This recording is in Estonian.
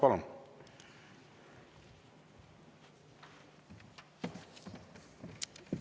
Palun!